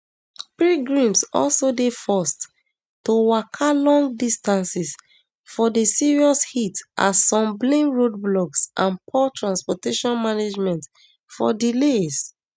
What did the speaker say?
pilgrims also dey forced to waka long distances for di serious heat as some blame roadblocks and poor transportation management for delays